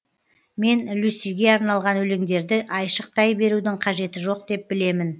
мен люсиге арналған өлеңдерді айшықтай берудің қажеті жоқ деп білемін